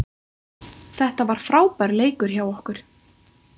Þetta var frábær leikur hjá okkur